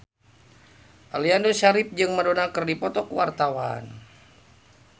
Aliando Syarif jeung Madonna keur dipoto ku wartawan